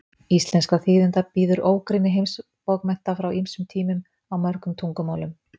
Íslenskra þýðenda bíður ógrynni heimsbókmennta frá ýmsum tímum, á mörgum tungumálum.